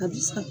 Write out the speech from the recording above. A bi sa